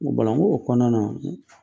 N ko Bala n k'o kɔnɔna na